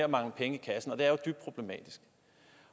mangler penge i kassen